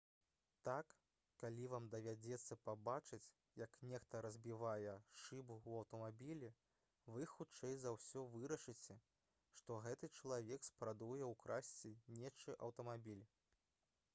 так калі вам давядзецца пабачыць як нехта разбівае шыбу ў аўтамабілі вы хутчэй за ўсё вырашыце што гэты чалавек спрабуе ўкрасці нечы аўтамабіль